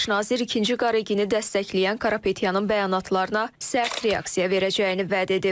Baş nazir ikinci Qaregini dəstəkləyən Karapetyanın bəyanatlarına sərt reaksiya verəcəyini vəd edib.